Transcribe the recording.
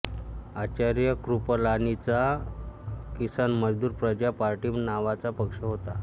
आचार्य कृपलानींचा किसान मजदूर प्रजा पार्टी नावाचा पक्ष होता